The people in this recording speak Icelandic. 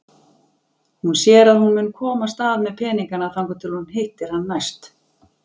Hún sér að hún mun komast af með peningana þangað til hún hittir hann næst.